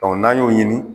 n'an y'o ɲini